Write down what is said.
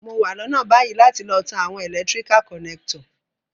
Mo wa lónà bayi láti lo tan àwon electrical connector